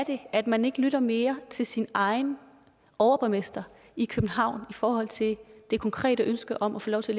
at man ikke lytter mere til sin egen overborgmester i københavn i forhold til det konkrete ønske om at få lov til